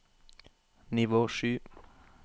nivå sju